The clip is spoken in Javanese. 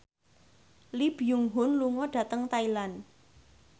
Lee Byung Hun lunga dhateng Thailand